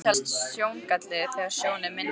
Það telst sjóngalli þegar sjón er minni en